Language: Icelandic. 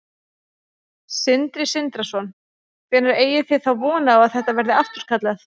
Sindri Sindrason: Hvenær eigið þið þá von á að þetta verði afturkallað?